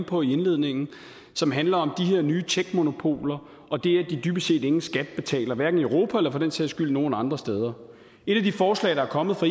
på i indledningen og som handler om de her nye techmonopoler og det at de dybest set ingen skat betaler hverken i europa eller for den sags skyld nogen andre steder et af de forslag der er kommet fra